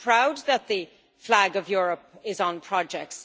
I am proud that the flag of Europe is on projects.